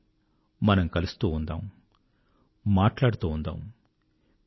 రండి మనం కలుస్తూ ఉందాం మాట్లాడుతూ ఉందాం